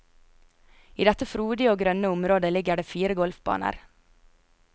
I dette frodige og grønne området ligger det fire golfbaner.